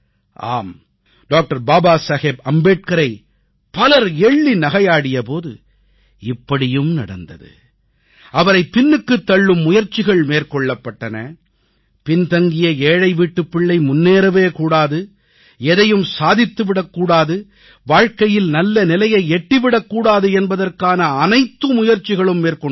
ஆம் டாக்டர் பாபா சாஹேப் அம்பேத்கரை பலர் எள்ளி நகையாடிய போது இப்படியும் நடந்தது அவரை பின்னுக்குத் தள்ளும் முயற்சிகள் மேற்கொள்ளப்பட்டன பின்தங்கிய ஏழைவீட்டுப் பிள்ளை முன்னேறவே கூடாது எதையும் சாதித்துவிடக் கூடாது வாழ்க்கையில் நல்லநிலையை எட்டிவிடக் கூடாது என்பதற்கானை அனைத்து முயற்சிகளும் மேற்கொண்டார்கள்